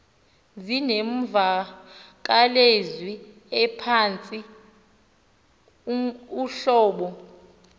zinemvakalezwi ephantsi uhlobo